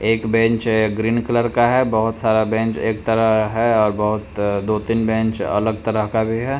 एक bench green colour का है बहोत सारा बेंच एक तरह है और बहोत दो-तीन बेंच अलग तरह का भी है।